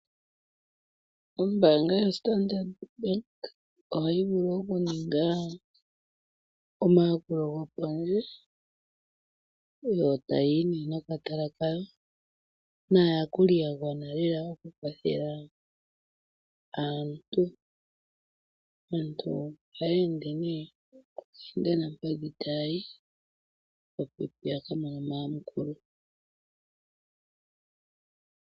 Ombanga yoStandard Bank ohayi vulu okuninga omayakulo gopondje yo taya yi nokatala kawo naayakuli ya gwana lela okukwathela aantu. Aantu ohaya ende nee okayendanampadhi tayi opo ya ka mone omayakulo .